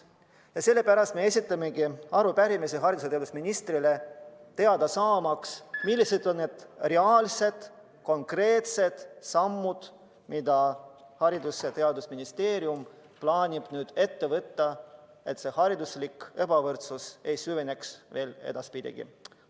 Ja sellepärast me esitamegi arupärimise haridus- ja teadusministrile, teada saamaks, millised on konkreetsed sammud, mida Haridus- ja Teadusministeerium plaanib ette võtta, et hariduslik ebavõrdsus edaspidi veelgi ei süveneks.